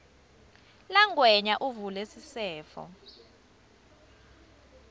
langwenya avule sisefo